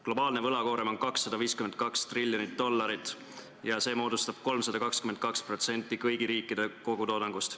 Globaalne võlakoorem on 252 triljonit dollarit ja see moodustab 322% kõigi riikide kogutoodangust.